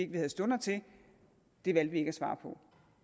vi havde stunder til det valgte vi ikke at svare på